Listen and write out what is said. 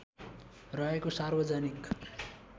रहेको सार्वजनिक